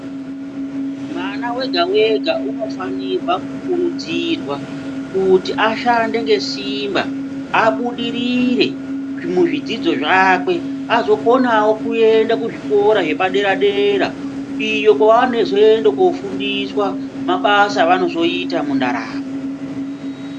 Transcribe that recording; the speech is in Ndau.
Mwana wega-wega unofanirwa kukurudzirwa kuti ashande nesimba abudirire muzvidzidzo zvakwe, azokonawo kuenda kuzvikoro zvepadera-dera, iyo kwevanozoenda kofundiswa mabasa evanozoita mundaramo.